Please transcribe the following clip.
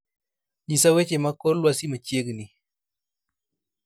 nyisa weche mag kor lwasi machiegni